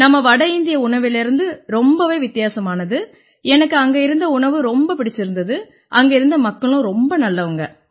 நம்ம வட இந்திய உணவுலேர்ந்து ரொம்பவே வித்தியாசமானது எனக்கு அங்க இருந்த உணவு ரொம்ப பிடிச்சிருந்திச்சு அங்க இருந்த மக்களும் ரொம்ப நல்லவங்க